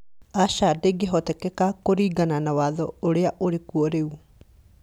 Acha ndĩngĩhotekeka kũringana na watho ũrĩa ũrĩkuo rĩu